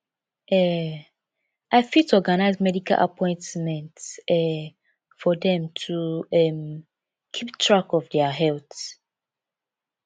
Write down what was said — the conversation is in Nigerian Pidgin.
um i fit organize medical appointments um for dem to um keep track of their health